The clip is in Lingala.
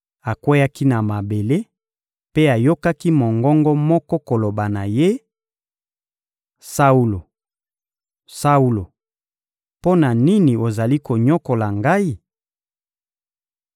Akweyaki na mabele mpe ayokaki mongongo moko koloba na ye: — Saulo, Saulo, mpo na nini ozali konyokola Ngai?